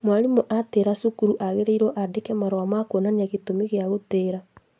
Mwarimũ atĩĩra cukuru agĩrĩirwo andĩke marũa ma kuonania gĩtũmi gĩa gũtĩĩra